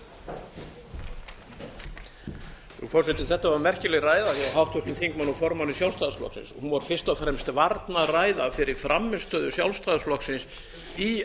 frú forseti þetta var merkileg ræða hjá háttvirtum þingmanni og formanni sjálfstæðisflokksins hún var fyrst og fremst varnarræða af þeirri frammistöðu sjálfstæðisflokksins í